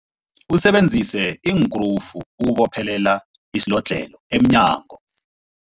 Usebenzise iinkrufu ukubophelela isilodlhelo emnyango.